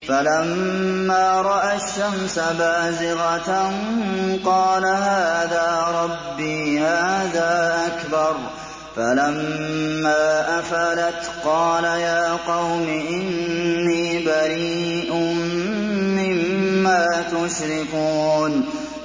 فَلَمَّا رَأَى الشَّمْسَ بَازِغَةً قَالَ هَٰذَا رَبِّي هَٰذَا أَكْبَرُ ۖ فَلَمَّا أَفَلَتْ قَالَ يَا قَوْمِ إِنِّي بَرِيءٌ مِّمَّا تُشْرِكُونَ